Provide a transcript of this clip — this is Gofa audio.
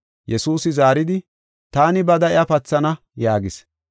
Yesuusi zaaridi, “Taani bada iya pathana” yaagis.